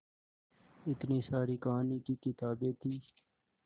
इतनी सारी कहानी की किताबें थीं